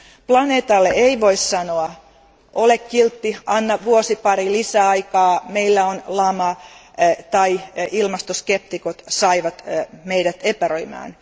Planeetalle ei voi sanoa ole kiltti, anna vuosi pari lisäaikaa, meillä on lama tai ilmastoskeptikot saivat meidät epäröimään.